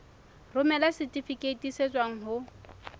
romela setifikeiti se tswang ho